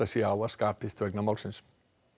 sé á að skapist vegna málsins